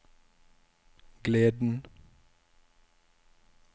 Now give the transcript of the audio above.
gleden